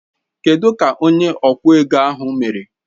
Kedụ ka onye okwụ ego ahụ mere?